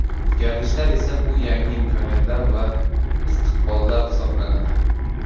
O‘zgarishlar esa bu yangi imkoniyatlar va istiqbollar hisoblanadi.